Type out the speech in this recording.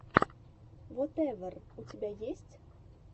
вотэвер у тебя есть